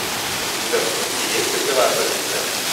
у тебя в списке есть передовая полиция